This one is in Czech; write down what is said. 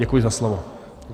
Děkuji za slovo.